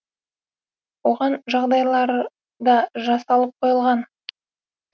оған жағдайлар да жасалып қойылған